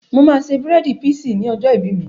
Mo máa ṣe bírèèdì píísì ní ọjọ́ ìbí mi